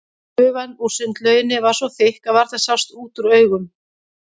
Gufan úr sundlauginni var svo þykk að varla sást út úr augum.